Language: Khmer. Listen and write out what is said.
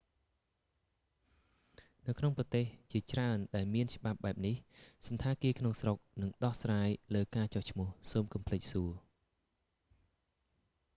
នៅក្នុងប្រទេសជាច្រើនដែលមានច្បាប់បែបនេះ សណ្ឋាគារក្នុងស្រុកនឹងដោះស្រាយលើការចុះឈ្មោះ សូមកុំភ្លេចសួរ